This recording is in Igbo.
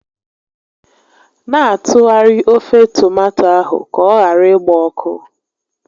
Na atụgharị ofe tomato ahụ ka ọ ghara ịgba ọkụ